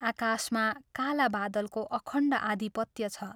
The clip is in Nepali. आकाशमा काला बादलको अखण्ड आधिपत्य छ।